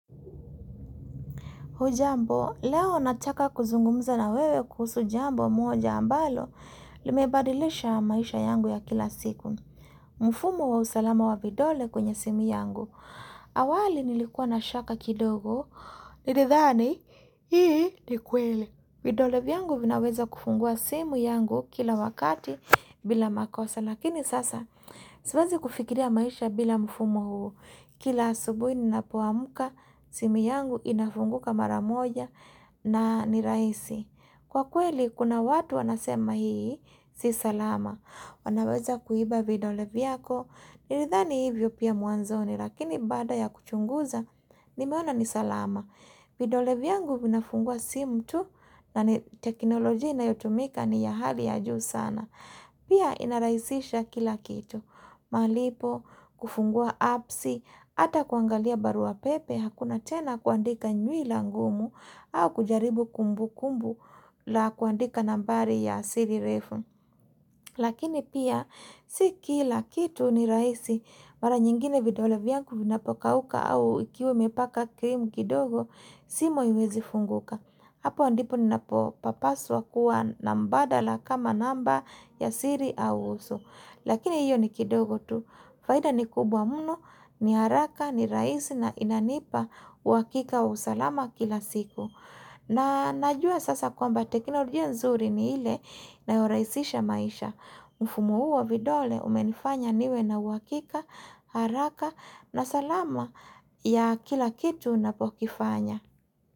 Hujambo, leo nataka kuzungumuza na wewe kuhusu jambo moja ambalo, limebadilisha maisha yangu ya kila siku. Mfumo wa usalama wa vidole kwenye simu yangu. Awali nilikuwa na shaka kidogo, nilithani, hii ni kweli. Vidole vyangu vinaweza kufungua simu yangu kila wakati bila makosa. Lakini sasa, siwezi kufikiria maisha bila mfumo huu. Kila subuhi ninapo amka, simu yangu inafunguka mara moja na ni rahisi. Kwa kweli, kuna watu wanasema hii, si salama. Wanaweza kuiba vidole vyako, nilithani hivyo pia mwanzoni, lakini baada ya kuchunguza, nimeona ni salama. Vidole vyangu vinafungua simu tu, na ni teknolojia inayotumika ni ya hali ya juu sana. Pia inarahisisha kila kitu. Malipo, kufungua appsi, hata kuangalia barua pepe, hakuna tena kuandika nywila ngumu au kujaribu kumbukumbu la kuandika nambari ya siri refu. Lakini pia si kila kitu ni rahisi mara nyingine vidole vyangu vinapokauka au ikiwa umepaka krimu kidogo simu haiwezi funguka. Hapo ndip ninapo papaswa kuwa na mbadala kama namba ya siri au uso. Lakini hiyo ni kidogo tu. Faida ni kubwa mno, ni haraka, ni rahisi na inanipa uhakika wa usalama kila siku. Na najua sasa kwamba teknolojia nzuri ni ile inayo rahisisha maisha. Mfumo huu wa vidole umenifanya niwe na uhakika, haraka na salama ya kila kitu napokifanya.